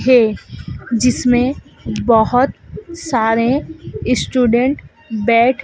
है जिसमें बहुत सारे स्टूडेंट बैठ--